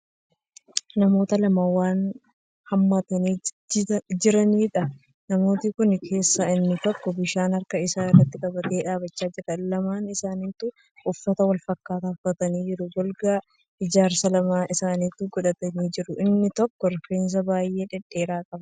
Namoota lama wan hammatanii jitaniidha. namoota Kan keessaa inni tokko bishaan harka Isaa irratti qabatee dhaabachaa jira. lamaan isaanituu uffata walfakkaataa uffataniiru. golgaa ijaarsa lamaan isaanituu godhatanii jiru. inni tokko rifeensa baay'ee dhedheeraa qaba.